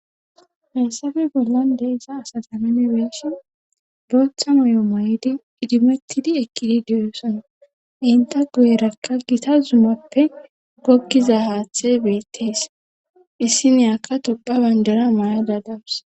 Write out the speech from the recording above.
Hassafe bollande iza asasamame beeshi looththa moyo maydi idimettidi ekkidi deyosona inta guyerakka gita zumappe gokkiza haaththe beettees issi niyaka topha banjera mayada dawus